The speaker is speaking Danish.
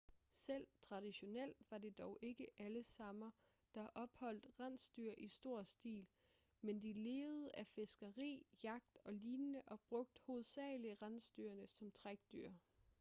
selv traditionelt var det dog ikke alle samer der holdt rensdyr i stor stil men de levede af fiskeri jagt og lignende og brugte hovedsagelig rensdyrene som trækdyr